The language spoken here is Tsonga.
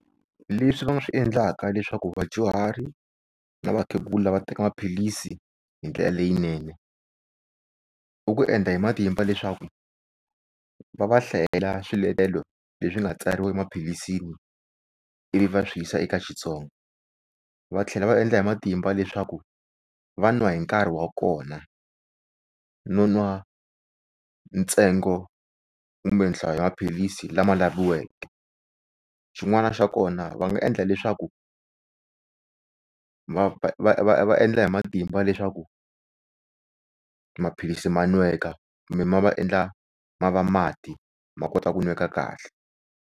Leswi va nga swi endlaka leswaku vadyuhari na vakhegula va teka maphilisi hindlela leyinene i ku endla hi matimba leswaku va va hlayela swiletelo leswi nga tsariwa emaphilisi ivi va swi yisa eka Xitsonga. Va tlhela va endla hi matimba leswaku va n'wa hi nkarhi wa kona no n'wa ntsengo kumbe nhlayo ya maphilisi lama laviweke. Xin'wana xa kona va nga endla leswaku va va va va endla hi matimba leswaku maphilisi ma n'weka kumbe va endla ma va mati ma kota ku nweka kahle.